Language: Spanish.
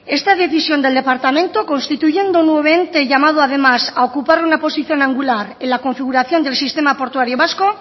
esta decisión del departamento constituyendo un nuevo ente llamado además a ocupar una posición angular en la configuración del sistema portuario vasco